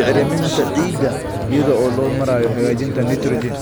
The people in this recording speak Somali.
bacriminta ciidda iyada oo loo marayo hagaajinta nitrogen.